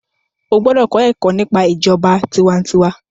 o gbódò kọ Èkó nípa ìjọba tiwantiwa.